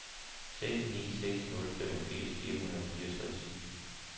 seks ni seks nul femogfirs fire hundrede og fireogtres